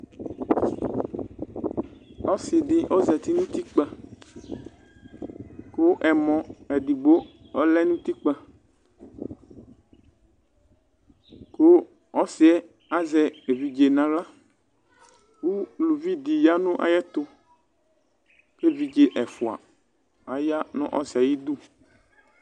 ɔsidi ɔzati nu utikpə ku ɛmɔ edigbo ɔlɛ nu utikpə ku ɔsiyɛ azɛ evidze nu aɣla ku uluvi di yanu ayɛtuku evidze ɛfua aya nu ɔsiɣɛ ayiʋ idu